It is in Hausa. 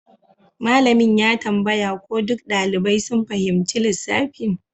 Malamin ya tambaya ko duk ɗalibai sun fahimci lissafin